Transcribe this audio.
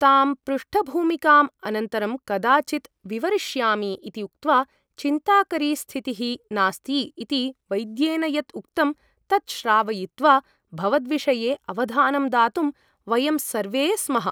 तां पृष्ठभूमिकाम् अनन्तरं कदाचित् विवरीष्यामि ' इति उक्त्वा ' चिन्ताकरी स्थितिः नास्ति ' इति वैद्येन यत् उक्तं तत् श्रावयित्वा भवद्विषये अवधानं दातुं वयं सर्वे स्मः ।